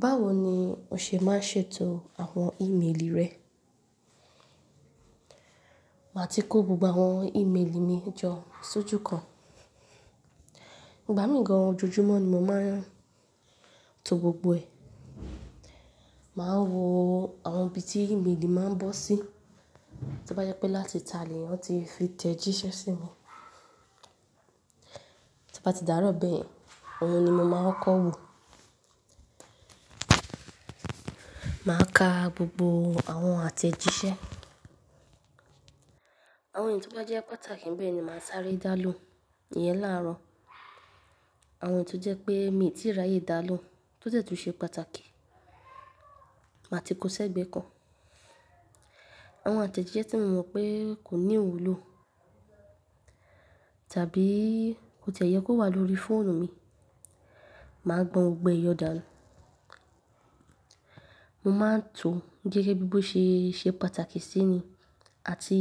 Báwo ni o ṣe máa ń ṣètò àwọn ìmélì rẹ? Màá ti kó gbogbo àwọn ìméèlì mi jọ sójú kan. Ìgbà míì gan-an ojoojúmọ́ ni mo máa ń to gbogbo ẹ̀. Màá wo àwọn ibi tí ìméèlì máa ń bọ́ sí. Tó bá jẹ́ pé láti tá lèyàn tí fi tẹ̀jíṣẹ́ sí mi. Tó bá ti dàárọ̀ bẹ́ẹ̀yen, òun ni mo máa kọ́ wo. Màá ka gbogbo àwọn àtẹ̀jíṣẹ́. Àwọn èyí tó bá jẹ́ pàtàkì n bẹ́ẹ̀ ni màá sáré dá lóhùn. Ìyẹn láàárọ̀. Àwọn èyí tó jẹ́ pé mi ò tíì ráyè dá lóhùn, tó dẹ̀tùn ṣe pàtàkì, màá ti kó sẹ́gbẹ̀ẹ́ kan. Àwọn àtẹ̀jíṣẹ́ tí mo mọ̀ pé kò ní iwúlò, tàbí kò tiẹ̀ yẹ kó wà lórí fóònù mi, màá gbọn gbogbo ẹ̀ yọ dá nù. Mo máa ń to gẹ́gẹ́ bí bó ṣe ṣe pàtàkì sí ni àti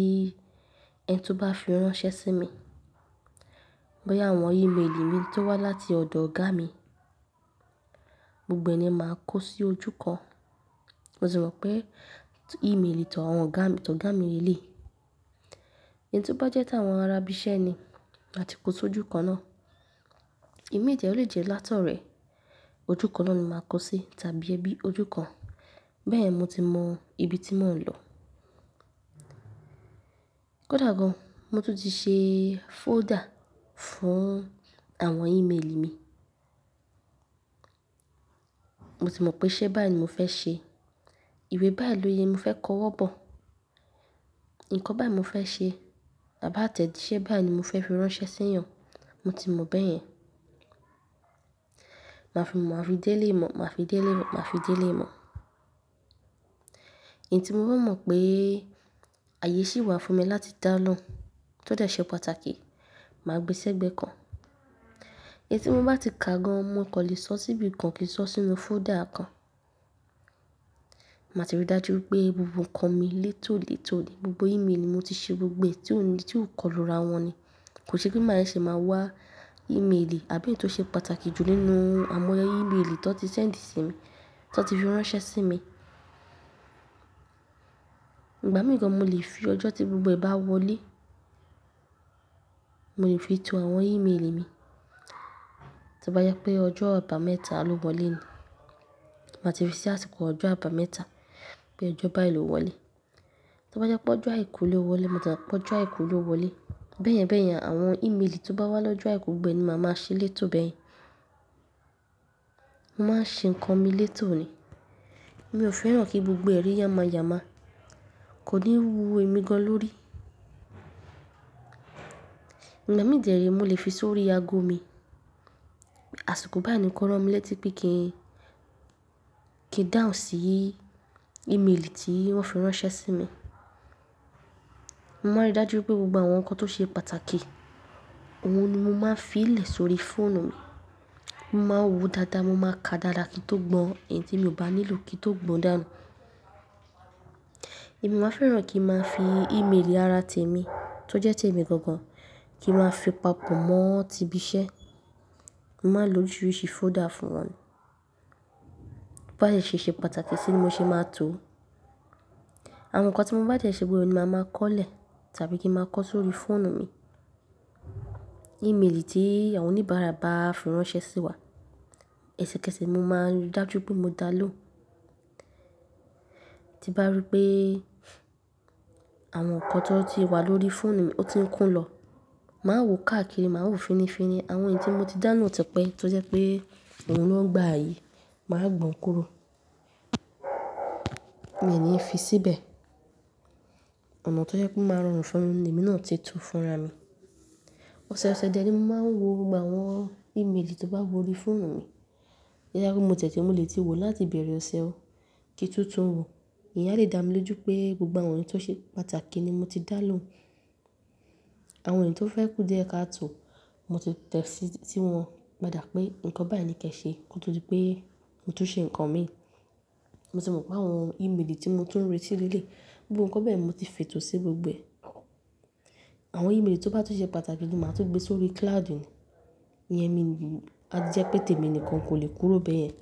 ẹni tó bá fi ránṣẹ́ sí mi. Bóyá àwọn ìméèlì mi tó wá láti ọ̀dọ̀ ọ̀gá mi, gbogbo ẹ̀ ni màá kó sí ojú kan. Mo sì mọ̀ pé ìméèlì tọ̀ àwọn ọ̀gá tọ̀ ọ̀gá mi léèlé. Ẹn tí ó bá jẹ́ t'àwọn ará ibi iṣẹ́ ni, màá ti kó sójú kan náà. Ìmi jẹ o lè jẹ́ látọ̀rẹ, ojú kan náà ni màá kó sí tàbí ẹbí ojú kan. Bẹ́ẹ̀ ni mo ti mọ ibi tí mò ń lọ. Kódà gan-an, mo tún ti ṣe fóòdà fún àwọn ìméèlì mi. Mo tì mọ̀ pé iṣẹ́ báyì ní mo fẹ́ ṣe, ìwé báyì ni mo fẹ́ kọ́ wọ́ bọ̀, nǹkan báyì ní mo fẹ́ ṣe àbá tẹ̀jíṣẹ́ báyì ní mo fẹ́ fi ránṣẹ́ sí èèyàn, mo ti mọ̀ bẹ́ẹ̀ yẹn. Màá fi mọ̀, maà fi dé eléyì mọ̀, màá fi dé eléyì, màá fi dé eléyì mọ̀. Ẹn tí mo bá mọ̀ pé àyè sì wà fún mi láti dá lóhùn, tó dẹ̀ ṣe pàtàkì, màá gbé sẹ́gbẹ̀ẹ́ kan. Èyí tí mo bá ti kà gan-an, mo kò lè sọ síbi kan kì í sọ sínú fóòdà kan. Màá ti rí i dájú pé gbogbo nǹkan mi létò létò ni. Gbogbo ìméèlì mi mo ti ṣe gbogbo ẹ̀, tí òní, tí ò kọlù ra wọ́n ni. Kò ṣe pé máa ṣe máa wá ìméèlì àbí èyí tó ṣe pàtàkì jù nínú àwọn ìméèlì tó ti ṣẹ̀ndi sí mi, tó ti fi ránṣẹ́ sí mi. Ìgbà míì gan-an mo lè fi ọjọ́ tí gbogbo ẹ̀ bá wọlé, mo lè fi to àwọn ìméèlì mi. Tó bá jẹ́ pé ọjọ́ àbámẹ́ta ló wọlé ni, màá ti fi sí àsìkò ọjọ́ àbámẹ́ta pé ọjọ́ bá yìí ló wọlé. Tó bá jẹ́ pé ọjọ́ àìkú ló wọlé, mo tí mo pé ọjọ́ àìkú ló wọlé. Bẹ́ẹ̀yẹn bẹ́ẹ̀yẹn, àwọn ìméèlì tí ó bá wá lọ́jọ́ àìkú gbogbo ẹ ni máa máa ṣe létò bẹ́ẹ̀yẹn. Mo máa ń ṣe nǹkan mi létò ni. Mi ò fẹ́ràn kí gbogbo ẹ̀ rí yama yama. Kò ní wú èmi gan-an lórí. Ìgbà mí dè rẹ̀, mo lè fi sórí ago mi. Àsìkò báyẹ ni kó rán mi létí pé kí n kí dáhùn sí ìméèlì tí wọ́n fi ránṣẹ́ sí mi. Mo máa ń rí dájú pé gbogbo àwọn ǹkan tó ṣe pàtàkì òun ni mo máa ń filé sórí fóònù mi. Mo máa ń wo dáadáa, mo máa ka dáadáa kí n tó gbọ́n ẹ̀yin tí mi ò bá nílò kí n tó gbọ́n dá nù. Èmi ò wáa ń fẹ́ràn kí n máa fi ìméèlì ara tèmi tó jẹ́ témi gan-an, kí n máa fi papọ̀ mọ́ tí ibi iṣẹ́. Mo máa ń lo oríṣiríṣi fóòdà fún wọn. Tó bá dẹ̀ ṣe ṣe pàtàkì sí ni mo ṣe máa ń to. Àwọn nǹkan tí mo bá dẹ̀ ṣe gbogbo rẹ̀ ni màá máa kọ́ lè tàbí kí n máa kọ sórí fóònù mi. Ìméèlì tí àwọn oníbàárà bá fi ránṣẹ́ sí wa, eṣẹ̀kẹ̀ṣẹ̀ mo máa ń rí i dájú pé mo dá lóhùn. Tí n bá rí pé àwọn nǹkan tó ti wà lórí fóònù mi ó ti ń kún lọ, màá wo káàkiri, màá wo finifini. Àwọn èyí tí mo ti dá lóhùn tipẹ́ tó jẹ́ pé òun ló n gba ààyè, màá gbọn kúrò. Mi ní fi síbẹ̀. Ọ̀nà tó jẹ́ pé o máa rọrùn fún mi, lèmi náà ti to fúnra mi. Ọ̀sẹ̀ ọ̀sẹ̀ dẹ̀ ni mo máa ń wo gbogbo àwọn ìméèlì tó bá wọrí fóònù mi. Tó jẹ́ pé mo ti ẹ̀ ti mọ lè tí wò láti ibẹ̀rẹ̀ ọ̀sẹ̀. Kí tún tún wò. Ìyẹn á dẹ̀ dá mi lójú pé gbogbo àwọn èyí tó ṣe pàtàkì ni mo ti dá lóhùn. Àwọn èyí tó fẹ́ kú díẹ̀ káàtò, mo ti tẹ̀ sí i tí wọn pá dà pé nǹkan báyìí ni kí ẹṣe kó tó di pé mo tún ṣe nǹkan mi. Mo tì mọ̀ pé àwọn ìméèlì tí mo tún ń retí léèléyi, gbogbo nǹkan bẹ́ẹ̀yen mo ti fètò sí gbogbo ẹ̀. Àwọn ìméèlì tó bá tún ṣe pàtàkì gan màá tún gbé sórí cloud ni. Ìyẹn mi, a jẹ́ pé tèmi nìkan kò lè kúrò bẹ́ẹ̀yẹn.